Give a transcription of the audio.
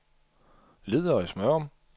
Ledøje-Smørum